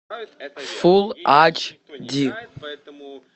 фулл ач ди